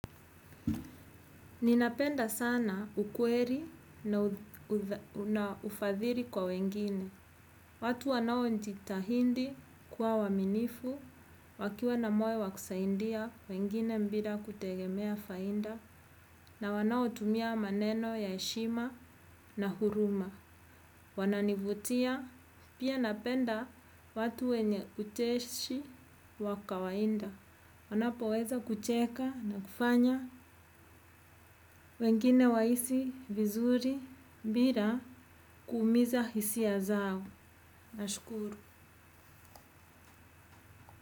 Ninapenda sana ukweli na ufadhili kwa wengine. Watu wanao jitahidi kuwa waaminifu, wakiwa na moyo wa kusaidia, wengine bila kutegemea faida, na wanaotumia maneno ya heshima na huruma. Wananivutia, pia napenda watu wenye ucheshi wa kawaida. Wanapo weza kucheka na kufanya wengine wahisi, vizuri, bila, kuumiza hisia zao. Nashukuru.